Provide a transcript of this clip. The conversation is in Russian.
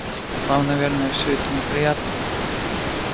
вам наверное всё это неприятно